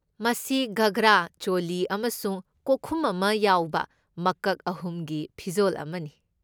ꯃꯁꯤ ꯘꯒ꯭ꯔꯥ, ꯆꯣꯂꯤ ꯑꯃꯁꯨꯡ ꯀꯣꯛꯈꯨꯝ ꯑꯃ ꯌꯥꯎꯕ ꯃꯀꯛ ꯑꯍꯨꯝꯒꯤ ꯐꯤꯖꯣꯜ ꯑꯃꯅꯤ꯫